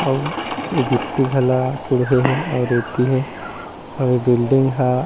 अउ गिट्टी घला कूड़होए हे अउ रेती हे यहा बिल्डिंग ह ।